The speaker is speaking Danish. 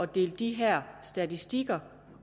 dele de her statistikker